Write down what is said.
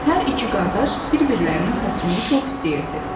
Hər iki qardaş bir-birlərinin xətrini çox istəyirdi.